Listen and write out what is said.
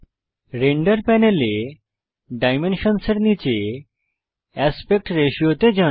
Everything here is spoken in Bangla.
রেন্ডার প্যানেলে ডাইমেনশনসের নীচে অ্যাসপেক্ট রাতিও তে যান